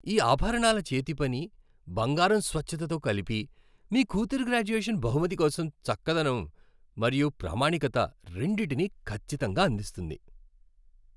ఈ ఆభరణాల చేతిపని , బంగారం స్వచ్ఛతతో కలిపి, మీ కూతురి గ్రాడ్యుయేషన్ బహుమతి కోసం చక్కదనం మరియు ప్రామాణికత రెండింటినీ ఖచ్చితంగా అందిస్తుంది.